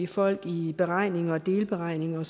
folk i beregninger og delberegninger og